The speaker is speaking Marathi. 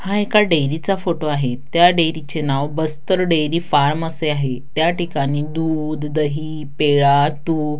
हा एका डेरी चा फोटो आहे त्या डेरीचे नाव बस्तर डेरी फार्म असे आहे त्या ठिकाणी दूध दही पेडा तूप --